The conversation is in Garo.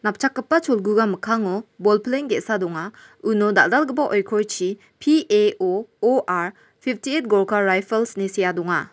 napchakgipa cholguga mikkango bolpleng ge·sa donga uno dal·dalgipa oikorchi P_A_O_O_R pipti et gorka raifals ine sea donga.